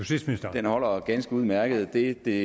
den holder ganske udmærket det det